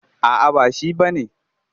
A'a ba shi ba ne.